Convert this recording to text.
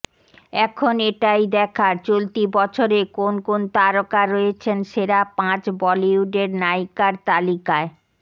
এখন এটাই দেখার চলতি বছরে কোন কোন তারকা রয়েছেন সেরা পাঁচ বলিউডের নায়িকার তালিকায়